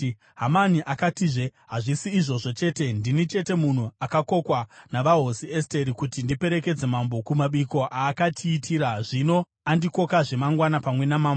Hamani akatizve, “Hazvisi izvozvo chete, ndini chete munhu akakokwa navahosi Esteri kuti ndiperekedze mambo kumabiko aakatiitira. Zvino andikokazve mangwana pamwe namambo.